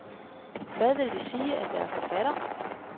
Hvad vil det sige at være forfatter?